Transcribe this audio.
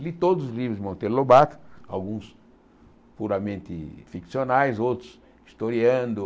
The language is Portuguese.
Li todos os livros de Monteiro Lobato, alguns puramente ficcionais, outros historiando.